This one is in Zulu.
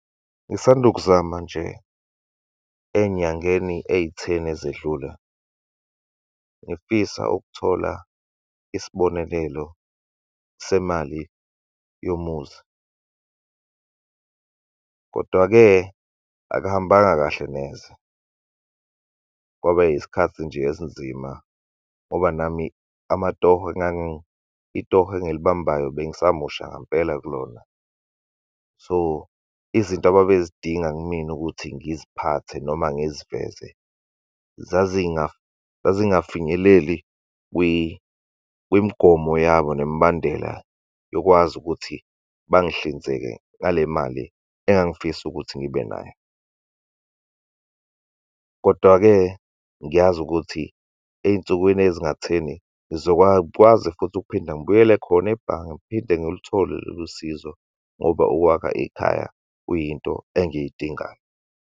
Ngisanda ukuzama nje ey'nyangeni eyitheni ezedlule, ngifisa ukuthola isibonekelo semali yomuzi. Kodwa-ke akuhambanga kahle neze, kwaba yisikhathi nje esinzima, ngoba nami amatoho , itoho engilibambayo bengisamusha ngampela kulona. So, izinto ababezidinga kumina ukuthi ngiziphathe, noma ngiziveze, zazingafinyeleli kwimigomo yabo nemibandela yokwazi ukuthi bangihlinzeke ngale mali engangifisa ukuthi ngibe nayo. Kodwa-ke ngiyazi ukuthi ey'nsukwini ezingatheni, ngizokwakwazi futhi ukuphinda ngibuyele khona ebhange, ngiphinde ngiluthole lolu sizo, ngoba ukwakha ikhaya kuyinto engiyidingayo.